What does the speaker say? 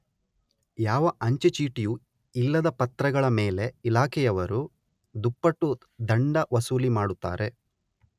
ಯಾವ ಅಂಚೆ ಚೀಟಿಯೂ ಇಲ್ಲದ ಪತ್ರಗಳ ಮೇಲೆ ಇಲಾಖೆಯವರು ದುಪ್ಪಟ್ಟು ದಂಡ ವಸೂಲಿ ಮಾಡುತ್ತಾರೆ.